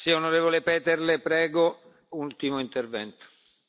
Gospod predsedujoči, gospod komisar, spoštovani kolegi.